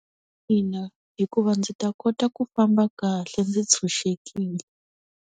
Ina, hikuva ndzi ta kota ku famba kahle ndzi ntshunxekile.